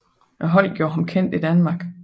Holdet gjorde ham kendt i Danmark